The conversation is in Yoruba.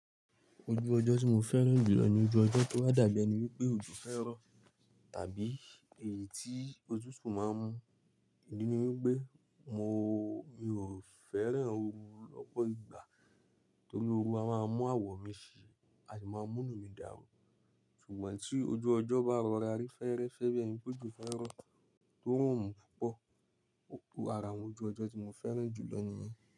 Ojú ọjọ́ tí mo fẹ́ràn jùlọ ni ojú ọjọ́ tó wá dàbí ẹni wípé òjò fẹ́ rọ̀ tàbí èyí tí otútù máa ń mú. Ìdí ni wípé mo, mi ò fẹ́ràn oru lọ́pọ̀ ìgbà torí oru a máa mú àwọ̀ mi ṣì a sì máa múnú mi dàrú. Ṣùgbọ́n tí ojú ọjọ́ bá rọra rí fẹ́ẹ́rẹ́fẹ́ bí ẹni wípé òjò fẹ́ rọ̀, tí òrùn ò mú púpọ̀. O ara àwọn ojú ọjọ́ tí mo fẹ́ràn jùlọ nìyẹn.